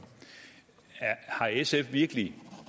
har sf virkelig